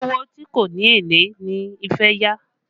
Owó tí kò ní èlé ni fẹ́ yá